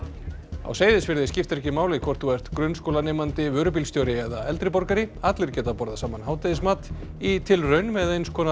á Seyðisfirði skiptir ekki máli hvort þú ert grunnskólanemandi vörubílstjóri eða eldri borgari allir geta borðað saman hádegismat í tilraun með eins konar